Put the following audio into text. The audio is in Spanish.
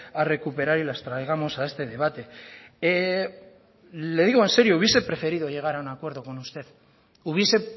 a recuperar y las traigamos a este debate le digo en serio hubiese preferido llegar a un acuerdo con usted hubiese